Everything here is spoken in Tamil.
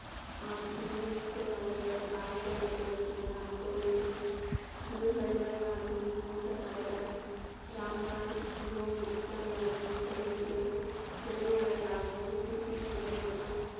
ஆம் ஜியின் மூத்த சகோதரர் ஆயிரத்தி அறநூற்றி அறுபத்தி ஒன்னு அக்டோபரில் குரு ஹரி ராய் ஜீயின் மூத்த சகோதரர் ராம் ராய் மிகவும் புத்திசாலியாகவும், கொள்கை உடையில் திறமையாளர்களாகவும், சீக்கியர் சங்கம் மற்றும்,